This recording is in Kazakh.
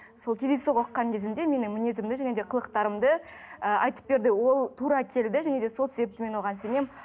сол кездейсоқ оқыған кезімде менің мінезімді және де қылықтарымды ы айтып берді ол тура келді және де сол себепті мен оған сенемін